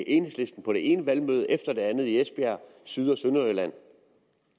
enhedslisten på det ene valgmøde efter det andet i esbjerg og syd og sønderjylland